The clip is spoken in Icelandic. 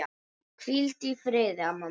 Hvíldu í friði, amma mín.